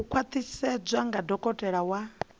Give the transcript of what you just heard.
u khwaṱhisedzwa nga dokotela wa